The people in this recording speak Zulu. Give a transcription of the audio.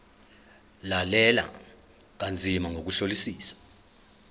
lalela kanzima ngokuhlolisisa